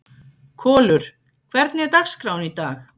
Kolur, hvernig er dagskráin í dag?